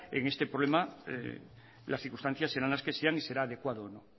en este problema las circunstancias serán las que sean y será adecuada o no